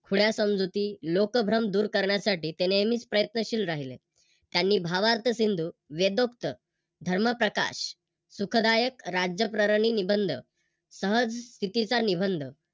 खुन्या समजुती, लोकभ्रम दूर करण्यासाठी ते नेहमीच प्रयन्तशील राहिले. त्यांनी भावार्थसिंधू वेदोपता धर्मप्रकाश, सुखदायक राज्य प्ररणी निबंध, सहज स्थितीचा निबंध